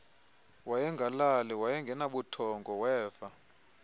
wayengalali wayengenabuthongo weva